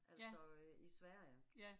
Ja. Ja